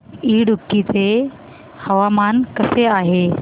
इडुक्की चे हवामान कसे आहे